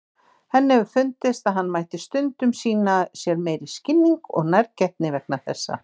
Henni hefur fundist að hann mætti stundum sýna sér meiri skilning og nærgætni vegna þessa.